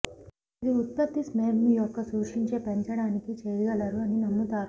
ఇది ఉత్పత్తి స్పెర్మ్ యొక్క సూచించే పెంచడానికి చేయగలరు అని నమ్ముతారు